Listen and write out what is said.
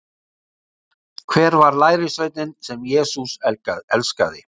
Hver var lærisveinninn sem Jesús elskaði?